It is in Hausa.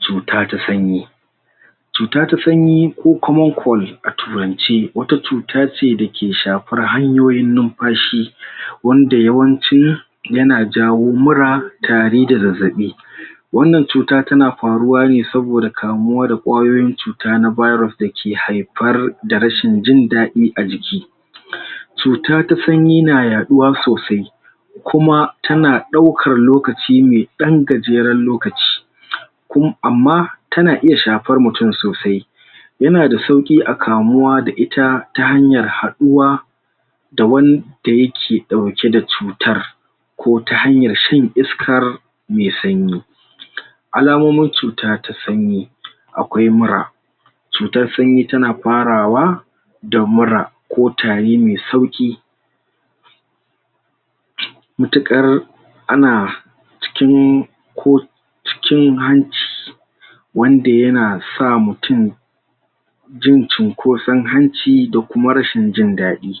Cuta ta sanyi cuta ta sanyi ko kuma kold a turance wata cuta ce da ke shafar hanyoyin numfashi wanda yawanci ya na jawo mura tare da zazzabi wannan cuta ta na faruwa ne saboda kamuwa da kwayoyin cuta na virus da ke haifar da rashin jindadi a jiki cuta ta sanyi na yaɗuwa sosai kuma ta na daukar lokaci me dan gajeren lokaci ku amma, ta na iya shafar mutum sosai ya na da sauki a kamuwa da ita ta hanyar haduwa da wanda ya ke dauke da cutar ko ta hanyar shan iskar me sanyi al'amomin cuta ta sanyi akwai mura cutar sanyi ta na farawa da mura ko tari me sauki matukar a na cikin ko cikiin wanda ya na sa mutum jin cinkosan hanci da kuma rashin jindadi